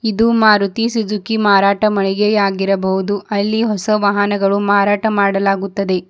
ಇದು ಮಾರುತಿ ಸುಜುಕಿ ಮಾರಾಟ ಮಳಿಗೆಯಾಗಿರಬಹುದು ಅಲ್ಲಿ ಹೊಸ ವಾಹನಗಳು ಮಾರಾಟ ಮಾಡಲಾಗುತ್ತದೆ.